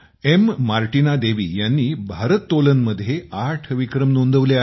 Martina Devi यांनी भारत्तोलनमध्ये आठ विक्रम नोंदवले आहेत